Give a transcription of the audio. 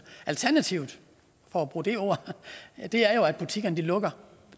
alternativet for at bruge det ord er jo at butikkerne lukker